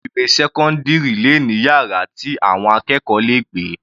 Ilé ìwé sẹ́cọ́ndírì le ní yàrá tí àwọn akẹ́kọ̀ọ́ le gbé.